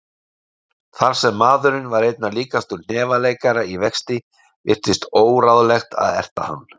Þar sem maðurinn var einna líkastur hnefaleikara í vexti virtist óráðlegt að erta hann.